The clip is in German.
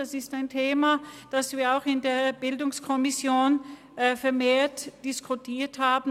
Das ist ein Thema, das wir auch in der BiK vermehrt diskutiert haben.